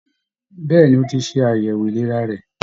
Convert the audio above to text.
Bẹ̀ẹ́ni, o tí ṣe àyẹwò ìlera rẹ.